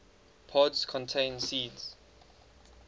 pods contain seeds